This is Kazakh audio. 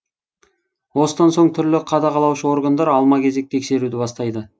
осыдан соң түрлі қадағалаушы органдар алма кезек тексеруді бастайды